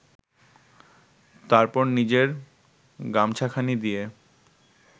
তারপর নিজের গামছাখানি দিয়ে